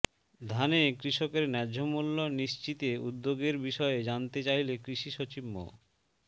ধানে কৃষকের ন্যায্য মূল্য নিশ্চিতে উদ্যোগের বিষয়ে জানতে চাইলে কৃষি সচিব মো